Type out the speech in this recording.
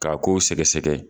K'a k'o sɛgɛsɛgɛ.